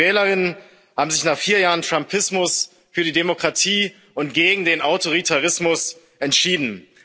Und die Wählerinnen und Wähler haben sich nach vier Jahren Trumpismus für die Demokratie und gegen den Autoritarismus entschieden.